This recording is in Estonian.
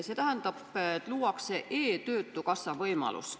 See tähendab, et luuakse e-töötukassa võimalus.